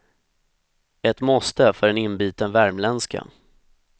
Ett måste för en inbiten värmländska.